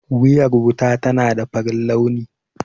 Wuriyar wuta tana da farin launi